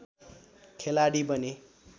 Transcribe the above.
खेलाडी बने